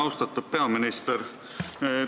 Austatud peaminister!